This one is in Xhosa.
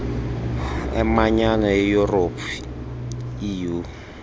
emanyano yeyurophu eu